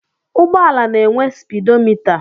Ụgbọala na-enwe spidomịta.